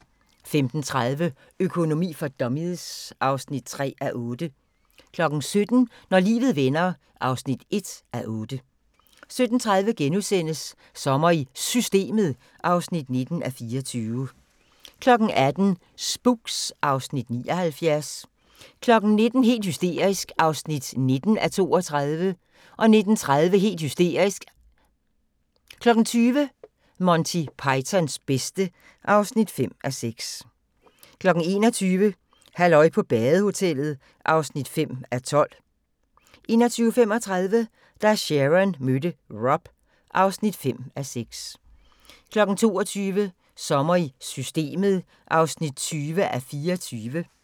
15:30: Økonomi for dummies (3:8) 17:00: Når livet vender (1:8) 17:30: Sommer i Systemet (19:24)* 18:00: Spooks (Afs. 79) 19:00: Helt hysterisk (19:32) 19:30: Helt hysterisk 20:00: Monty Pythons bedste (5:6) 21:00: Halløj på badehotellet (5:12) 21:35: Da Sharon mødte Rob (5:6) 22:00: Sommer i Systemet (20:24)